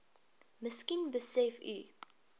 miskien besef u